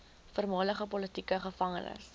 voormalige politieke gevangenes